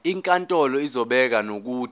inkantolo izobeka nokuthi